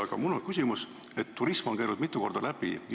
Aga mul on küsimus selle kohta, et siit on turism mitu korda läbi käinud.